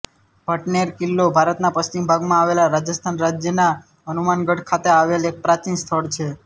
ભટનેર કિલ્લો ભારતના પશ્ચિમ ભાગમાં આવેલા રાજસ્થાન રાજ્યના હનુમાનગઢ ખાતે આવેલ એક પ્રાચીન સ્થળ છે